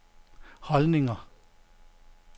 holdninger